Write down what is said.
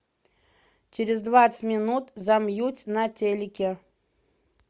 через двадцать минут замьють на телике